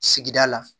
Sigida la